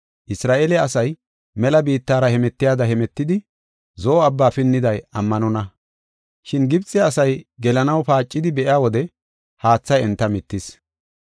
Isra7eele asay mela biittara hemetiyada hemetidi, Zo7o Abbaa pinniday ammanonna. Shin Gibxe asay gelanaw paacidi be7iya wode haathay enta mittis.